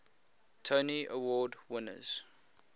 tony award winners